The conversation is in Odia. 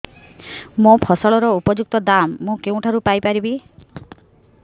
ମୋ ଫସଲର ଉପଯୁକ୍ତ ଦାମ୍ ମୁଁ କେଉଁଠାରୁ ପାଇ ପାରିବି